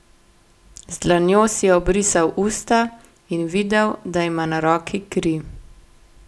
Z dlanjo si je obrisal usta in videl, da ima na roki kri.